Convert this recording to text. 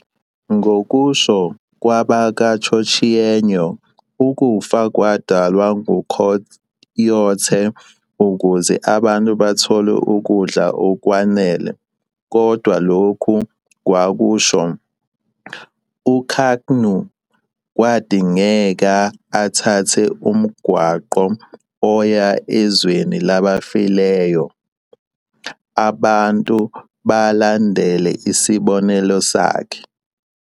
Ngokusho kwabakwaChochenyo ukufa kwadalwa nguCoyote ukuze abantu bathole ukudla okwanele kodwa lokhu kwakusho."UKaknu kwadingeka athathe umgwaqo oya ezweni labafileyoabantu balandele isibonelo sakhe."